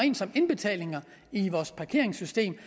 ind som indbetalinger i vores parkeringssystem